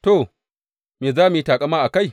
To, me za mu yi taƙama a kai?